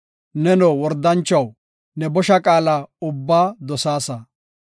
Neno, wordanchuwaw, ne bosha qaala ubbaa dosaasa.